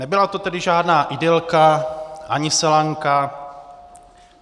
Nebyla to tedy žádná idylka, ani selanka.